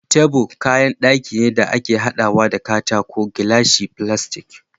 Table kayan daki ne da ake hadawa da katako ,glashi, filastic